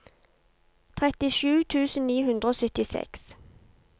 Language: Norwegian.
trettisju tusen ni hundre og syttiseks